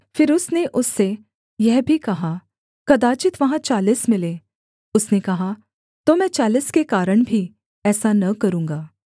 फिर उसने उससे यह भी कहा कदाचित् वहाँ चालीस मिलें उसने कहा तो मैं चालीस के कारण भी ऐसा न करूँगा